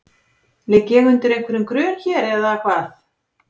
Ligg ég undir einhverjum grun hér, eða hvað?